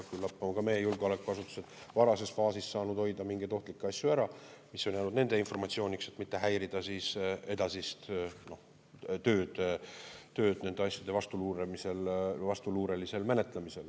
Küllap on ka meie julgeolekuasutused varases faasis saanud hoida ära mingeid ohtlikke asju, mis on jäänud nende informatsiooniks, et mitte häirida edasist tööd nende asjade vastuluurelisel menetlemisel.